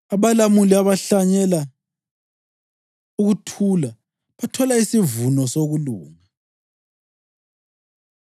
Abalamuli abahlanyela ukuthula bathola isivuno sokulunga.